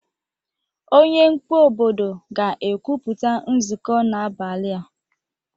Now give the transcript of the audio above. Onye mkpu obodo ga-ekwupụta nzụkọ n'abalị a